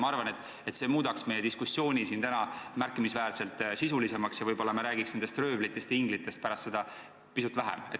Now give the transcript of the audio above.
Ma arvan, et see muudaks meie diskussiooni siin täna märkimisväärselt sisulisemaks ja me ehk räägiks röövlitest ja inglitest pärast seda pisut vähem.